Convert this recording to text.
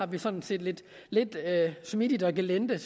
vi samtidig lidt smidigt og gelinde